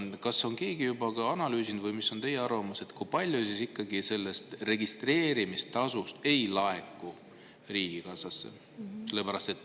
Kas on keegi juba analüüsinud või mis on teie arvamus, kui palju registreerimistasu ikkagi ei laeku riigikassasse?